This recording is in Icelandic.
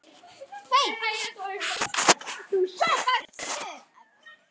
Nei, ég ætla að stökkva yfir hindrun.